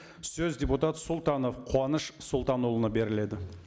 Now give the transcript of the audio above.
сөз депутат сұлтанов қуаныш сұлтанұлына беріледі